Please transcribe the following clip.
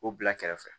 O bila kɛrɛfɛ